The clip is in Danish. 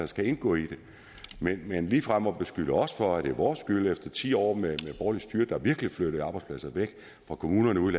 skal indgå i det men ligefrem at beskylde os for at det er vores skyld efter ti år med borgerligt styre der virkelig flyttede arbejdspladser væk fra kommunerne ude